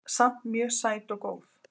Samt mjög sæt og góð